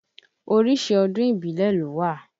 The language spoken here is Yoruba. Oríṣi ọdún ìbílẹ̀ ló wà.